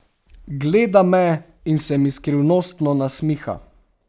Gleda me in se mi skrivnostno nasmiha.